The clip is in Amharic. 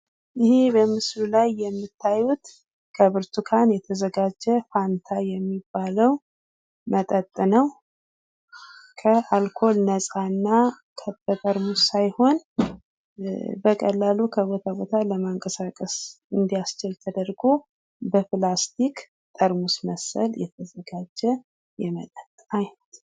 ይህ በምስሉ ላይ የምትመለከቱት ከብርቱካን የተዘጋጀ ፍንታ የሚባለው መጠጥ ነው ከአልኮል ነጻ እና በጠርሙስ ሳይሆን በቀላል ከቦታ ቦታ ለማንቀሳቀስ እንዲያስችል ተደርጎ ከፕላስቲክ ጠርሙስ መሰል የተዘጋጀ የመጠጥ አይነት ነው።